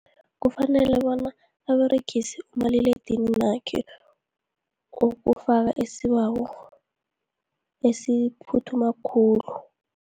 Kufanele bona aberegise umaliledinininakhe, ukufaka isibawo esiphuthuma khulu.